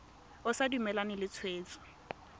o sa dumalane le tshwetso